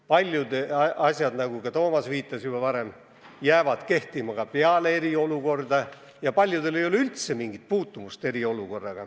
Paljud asjad, nagu Toomas viitas, jäävad kehtima ka peale eriolukorda ja paljudel ei ole eriolukorraga üldse mingit puutumust.